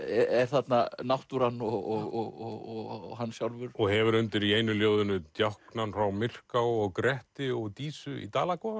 er þarna náttúran og hann sjálfur og hefur undir í einu ljóðinu djáknann frá Myrká og Gretti og Dísu í